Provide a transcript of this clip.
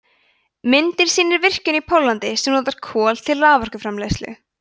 myndin sýnir virkjun í póllandi sem notar kol til raforkuframleiðslu